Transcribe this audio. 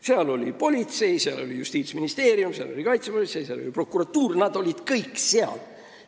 Seal oli politsei, seal oli Justiitsministeerium, seal oli kaitsepolitsei, seal oli prokuratuur – nad kõik olid seal.